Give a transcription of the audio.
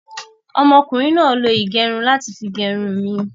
Ọmọ kùnrin náà lo ìgẹrun láti fi gẹrun mi